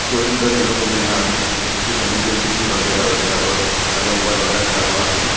दो तीन घर देखने को मिल रहा है जिसके सामने जे_सी_बी वगैरा वगैरा और खड़ा हुआ है।